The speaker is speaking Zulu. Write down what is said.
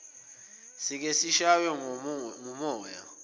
sike sishaywe ngumoya